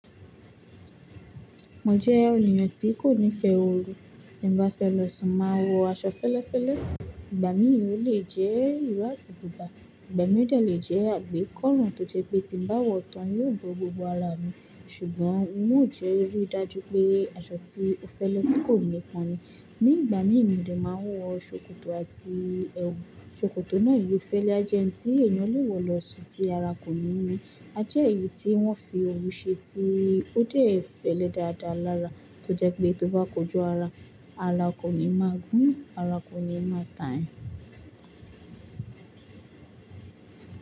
Mo jẹ́ ènìyàn tí kò nífẹ̀ẹ́ oru, tí n bá fẹ́ lọ́ṣun máa wọ aṣọ fẹ́lẹ́fẹ́lẹ́. Ìgbà mí ò le jẹ́ ìró àti bùbá, ìgbà mìíràn lè jẹ́ àgbékọ́ run tó jẹ́ pé tí n bá wọ̀ tán yóò bọ́ gbogbo ara mi, ṣùgbọ́n mò jẹ́ rí dájú pé aṣọ tí ó fẹ́lẹ́ tí kò ní kanmi. Ní ìgbà mí ní máa wọ ṣòkòtò àti ẹwù. Ṣòkòtò náà ìwé fẹ́lẹ́ ajẹ́ ẹni tí ènìyàn lè wọ̀ lọ́ṣọ̀ọ́ tí ara kò ní ní. A jẹ́ èyí tí wọ́n fi òru ṣe tí ó déẹ̀ fẹ́lẹ́ dáadáa lára tó jẹ́ pé tó bá kojú ara, ara kò ní máa gbón, ara kò ní máa tà yan.